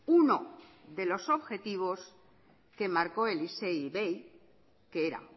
uno de los objetivos que marcó el isei ivei que era